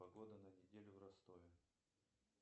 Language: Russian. погода на неделю в ростове